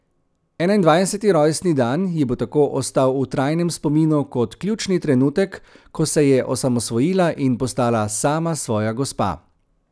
Enaindvajseti rojstni dan ji bo tako ostal v trajnem spominu kot ključni trenutek, ko se je osamosvojila in postala sama svoja gospa.